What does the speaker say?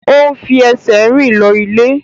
O n fi ẹsẹ̀ rìn lọ ilé.